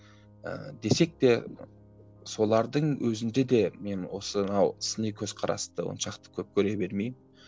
ыыы десек те солардың өзінде де мен осынау сыни көзқарасты оншалықты көп көре бермеймін